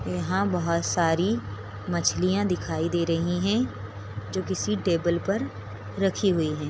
यहाँ बहुत सारी मछलियाँ दिखाई दे रही है जो किसी टेबल पर रखी हुई है।